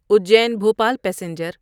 Ujjain Bhopal passenger